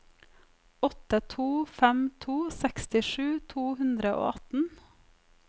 åtte to fem to sekstisju to hundre og atten